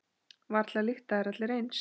Varla lykta þeir allir eins.